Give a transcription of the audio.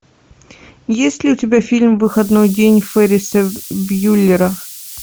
есть ли у тебя фильм выходной день ферриса бьюллера